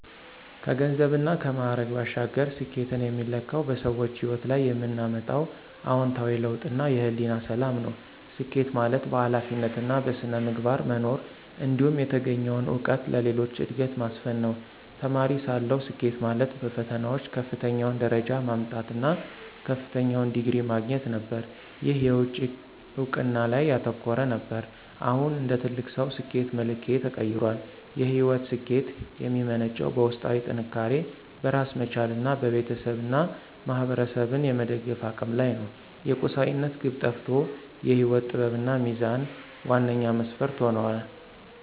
ከገንዘብና ከማዕረግ ባሻገር፣ ስኬትን የሚለካው በሰዎች ሕይወት ላይ የምናመጣው አዎንታዊ ለውጥና የሕሊና ሰላም ነው። ስኬት ማለት በኃላፊነትና በሥነ ምግባር መኖር፣ እንዲሁም የተገኘውን እውቀት ለሌሎች ዕድገት ማስፈን ነው። ተማሪ እያለሁ፣ ስኬት ማለት በፈተናዎች ከፍተኛውን ደረጃ ማምጣት እና ከፍተኛውን ዲግሪ ማግኘት ነበር። ይህ የውጭ እውቅና ላይ ያተኮረ ነበር። አሁን እንደ ትልቅ ሰው፣ ስኬት መለኪያዬ ተቀይሯል። የሕይወት ስኬት የሚመነጨው በውስጣዊ ጥንካሬ፣ በራስ መቻልና ቤተሰብንና ማኅበረሰብን የመደገፍ አቅም ላይ ነው። የቁሳዊነት ግብ ጠፍቶ የሕይወት ጥበብና ሚዛን ዋነኛ መስፈርት ሆነዋል።